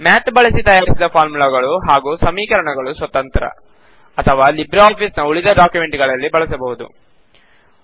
Math ಬಳಸಿ ತಯಾರಿಸಿದ ಫಾರ್ಮುಲಾಗಳು ಹಾಗೂ ಸಮೀಕರಣಗಳು ಸ್ವತಂತ್ರ ಅಥವಾ ಲಿಬ್ರೆ ಆಫಿಸ್ ನ ಉಳಿದ ಡಾಕ್ಯುಮೆಂಟ್ ಗಳಲ್ಲಿ ಬಳಸಬಹುದು